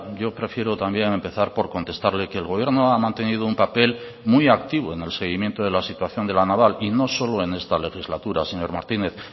yo prefiero también empezar por contestarle que el gobierno ha mantenido un papel muy activo en el seguimiento de la situación de la naval y no solo en esta legislatura señor martínez